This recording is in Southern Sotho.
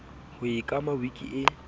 ho e kama wiki e